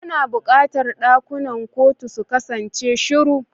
Ana buƙatar ɗakunan kotu su kasance shiru.